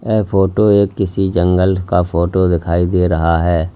यह फोटो एक किसी जंगल का फोटो दिखाई दे रहा है।